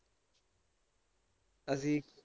ਅਸੀ,